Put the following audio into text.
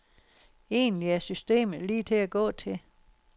Egentlig er systemet lige til at gå til.